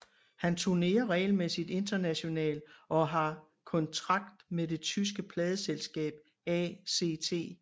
Han turnerer regelmæssigt international og har kontrakt med det tyske pladeselskab ACT